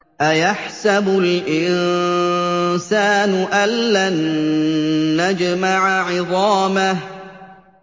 أَيَحْسَبُ الْإِنسَانُ أَلَّن نَّجْمَعَ عِظَامَهُ